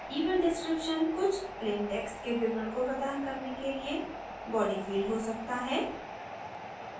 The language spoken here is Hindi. event description कुछ plain text के विवरण को प्रदान करने के लिए body field हो सकता है